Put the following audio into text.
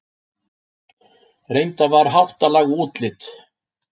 Reyndar var háttalag og útlit